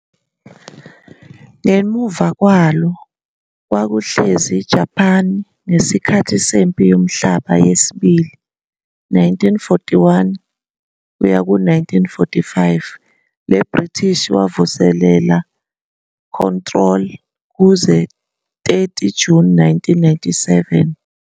Ngemuva kwalo kwakuhlezi iJapan ngesikhathi seMpi yoMhlaba yesiBili, 1941-45, le British wavuselela control kuze 30 June 1997.